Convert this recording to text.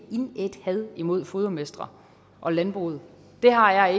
indædt had mod fodermestre og landbruget det har jeg